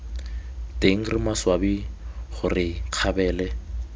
teng re maswabi gore kgabele